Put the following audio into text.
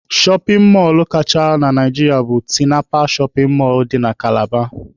Shọpin mọlụ kachasị na Naijiria bụ Tinapa shọpin mọlụ dị na Kalaba.